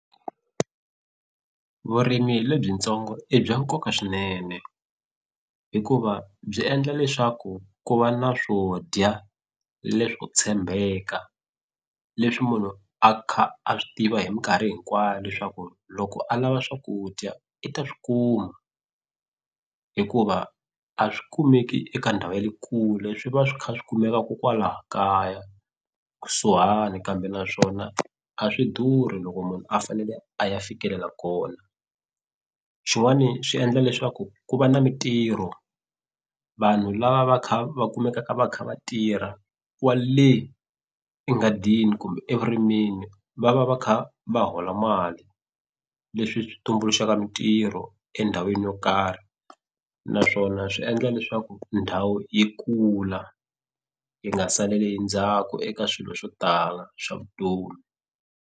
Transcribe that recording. Vurimi lebyintsongo i bya nkoka swinene hikuva byi endla leswaku ku va na swo dya leswo tshembeka leswi munhu a kha a swi tiva hi minkarhi hinkwayo leswaku loko a lava swakudya i ta swi kuma hikuva a swi kumeki eka ndhawu ya le kule swi va swi kha swi kumeka kokwala kaya kusuhani kambe naswona a swi durhi loko munhu a fanele a ya fikelela kona xin'wani swi endla leswaku ku va na mintirho vanhu lava va kha va kumekaka va kha va tirha kwale enghadini kumbe evurimeni va va va kha va hola mali leswi swi tumbuluxaka mintirho endhawini yo karhi naswona swi endla leswaku ndhawu yi kula yi nga saleli endzhaku eka swilo swo tala swa vutomi.